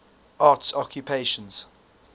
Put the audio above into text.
arts occupations